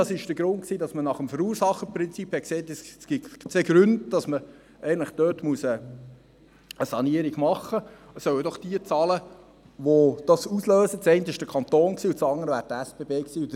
Das war der Grund, weshalb man nach dem Verursacherprinzip sagte, es gebe zwei Gründe, weswegen man dort eine Sanierung machen muss, und es sollen doch jene zahlen, die es auslösen: zum einen der Kanton und zum anderen die SBB.